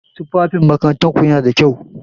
Tufafin makarantar ku yana da kyau?